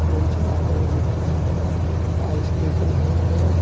तीन-चार आदमी दिख रहे हैं टाइल्स दिख रहे हैं।